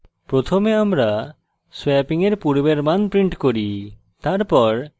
প্রথমে আমরা swapping এর পূর্বের মান print করি